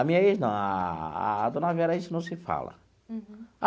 A minha ex não, a dona Vera, a gente não se fala.